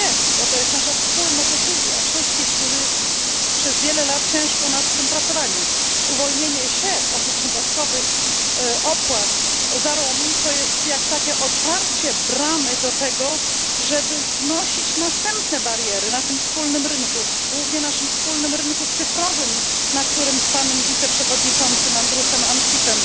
się, bo to jest nasza wspólna decyzja wszystkich, którzy przez wiele lat ciężko nad tym pracowali uwolnienie się od dodatkowych opłat za roaming, to jest jak takie otwarcie bramy do tego, żeby znosić następne bariery na tym wspólnym rynku, głównie naszym wspólnym rynku cyfrowym, na którym z panem wiceprzewodniczącym Andrusem Ansipem